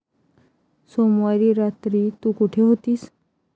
सोमवारी रात्री तू कुठे होतीस?